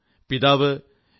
പിതാവ് ശ്രീ